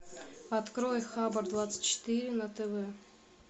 открой хабар двадцать четыре на тв